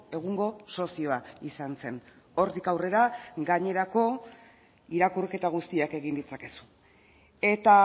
egungo sozioa izan zen hortik aurrera gainerako irakurketa guztiak egin ditzakezu eta